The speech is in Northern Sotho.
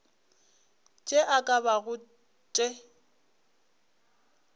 tše e ka bago tše